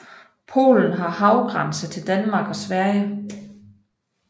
Polen har havgrænse til Danmark og Sverige